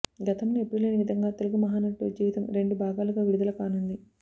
గతంలో ఎప్పుడు లేని విధంగా తెలుగు మహానటుడు జీవితం రెండు భాగాలుగా విడుదలకానుంది